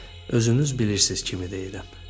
Özünüz bilirsiz kimi deyirəm.